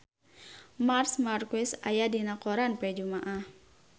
Marc Marquez aya dina koran poe Jumaah